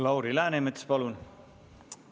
Lauri Läänemets, palun!